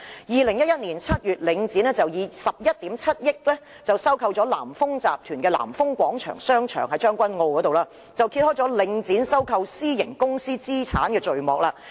2011年7月，領展以11億 7,000 萬元收購了南豐集團在將軍澳的南豐廣場，揭開領展收購私營公司資產的序幕。